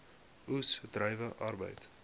oes druiwe arbeid